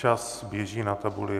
Čas běží na tabuli.